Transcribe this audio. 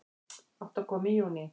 Átti að koma í júní